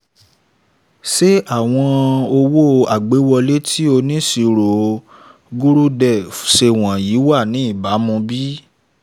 ṣé àwọn owó agbéwọlé tí oníṣirò gurudev ṣe wọ̀nyìí wa ní ìbàmu bí?